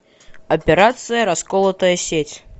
операция расколотая сеть